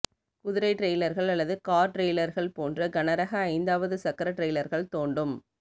குதிரை டிரெய்லர்கள் அல்லது கார் டிரெய்லர்கள் போன்ற கனரக ஐந்தாவது சக்கர டிரெய்லர்கள் தோண்டும்